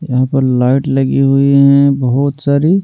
यहां पर लाइट लगी हुई हैं बहुत सारी--